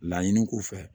Laɲini k'u fɛ